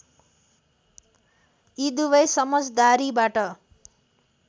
यी दुवै समझदारीबाट